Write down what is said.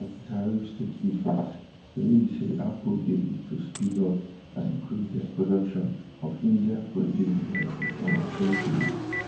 as di tariffs take effect tori be say apple dey look to speed up and increase dia production of indiaproduced devices in recent days